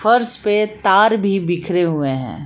फर्श पे तार भी बिखरे हुए हैं।